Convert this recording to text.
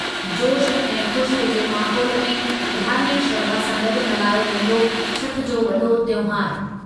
जोशु ऐं ख़ुशीअ जे माहोलु में धार्मिकु श्रधा सां गॾु मल्हायो वेंदो छठ जो वॾो तहिंवारु।